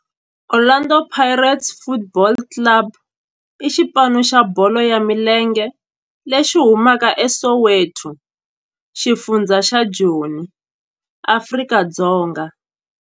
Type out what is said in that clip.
Orlando Pirates Football Club i xipano xa bolo ya milenge lexi humaka eSoweto, xifundzha xa Joni, Afrika-Dzonga.